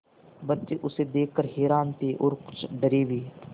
बच्चे उसे देख कर हैरान थे और कुछ डरे भी